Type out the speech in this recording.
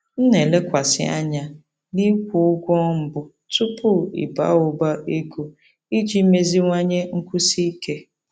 M na-elekwasị anya n'ịkwụ ụgwọ mbụ tupu ịba ụba ego iji meziwanye nkwụsi ike.